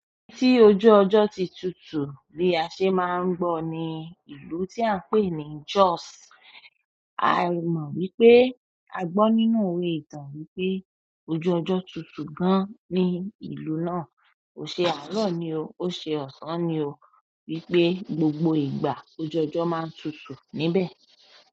Tí ojú ọjọ́ ti tutù bí a ṣe máa ń gbọ́ ní ìlú tí à ń pè ní Jos. A mọ̀ wípé a gbọ́ nínú ìwé ìtàn wípé ojú ọjọ́ tutù gan ní ìlú náà. Ó ṣe àárọ̀ ni o, ó ṣe ọ̀sán ni o wípé gbogbo ìgbà lojú ọjọ́ má ń tutù níbẹ̀.